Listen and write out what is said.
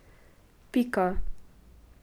Pika.